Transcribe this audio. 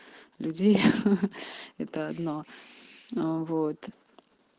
людей это одно аа вот